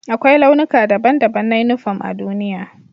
Akwai launuka daban-daban na uniporm a duniya.